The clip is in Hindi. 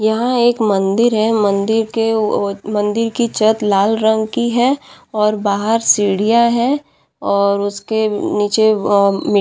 यहाँ एक मदिर है मंदिर के ओ मंदिर की छत लाल रंग की है और बाहर सीढियाँ है और उसके नीचे अ मिट्टी --